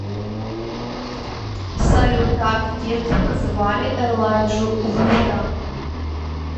салют как в детстве называли элайджу вуда